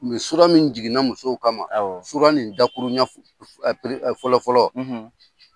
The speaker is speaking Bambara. Mɛ min jiginna musow kama, awɔ. in dakurunya fɔlɔ fɔlɔ